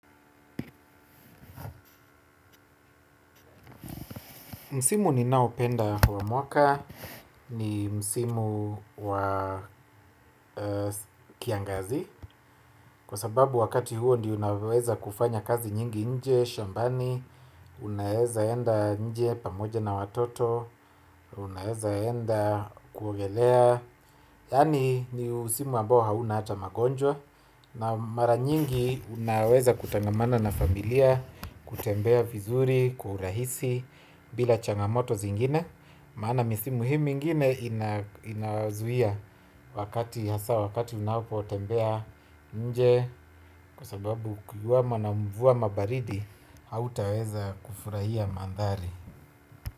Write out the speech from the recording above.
Msimu ninaopenda wa mwaka ni msimu wa kiangazi. Kwa sababu wakati huo ndio naweza kufanya kazi nyingi nje, shambani unaweza enda nje pamoja na watoto unaweza enda kuogelea yaani ni msimu ambao hauna ata magonjwa na mara nyingi unaweza kutangamana na familia kutembea vizuri, kwa urahisi, bila changamoto zingine maana misimu hii mingine inazuia wakati hasa wakati unapotembea nje kwa sababu kukiwa na mvua ama baridi hautaweza kufurahia mandhari.